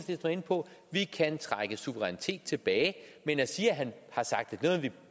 på vi kan trække suverænitet tilbage men at sige at han har sagt